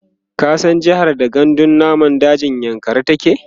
ka san jehar da gandun namun dajin yankari take?